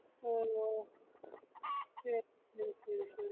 ഓ ശെരി ശെരി ശെരി ശെരി